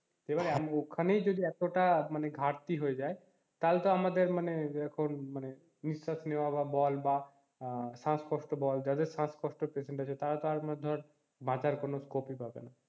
এবার ওখানেই যদি এতোটা মানে ঘাটতি হয়ে যায় তাহলে তো আমাদের মানে এখন মানে নিশ্বাস নেওয়া বল বা শ্বাসকষ্ট বল যাদের শ্বাস কষ্টের patient আছে তারা তো আর ধর বাঁচার কোন scope ই পাবে না।